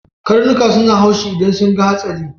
Karnuka suna haushi idan sun ga hatsari.